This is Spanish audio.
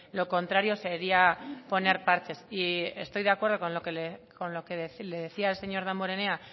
lo contrario sería poner parches y estoy de acuerdo con lo que le decía el señor damborenea